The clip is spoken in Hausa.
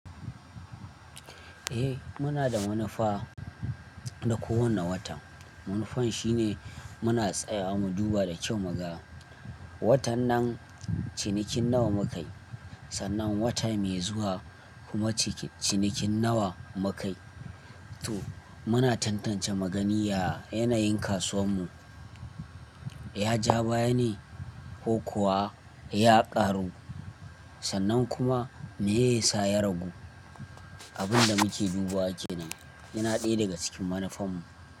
Eh muna da manufa, na kowane watan. Manufan shine muna tsaya mu duba da kyau mu ga, watan nan cinikin nawa mukai, sannan wata mai zuwa kuma ci-cinikin nawa mukai. To muna tantance mugani ya yanayin kasuwar mu, ya ja baya ne ko kuwa ya ƙaru, sannan kuma me ya sa ya ragu. Abin da muke duba kenan yana ɗaya daga cikin manufan mu.